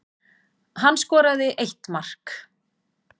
Hann skoraði eitt mark